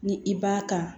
Ni i b'a kan